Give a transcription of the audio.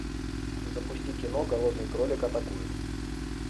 запусти кино голодный кролик атакует